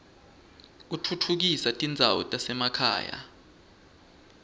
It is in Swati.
kutfutfukisa tindzawo tasema khaya